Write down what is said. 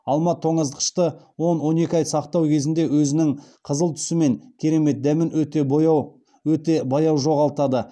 алма тоңазытқышты он он екі ай сақтау кезінде өзінің қызыл түсі мен керемет дәмін өте баяу жоғалтады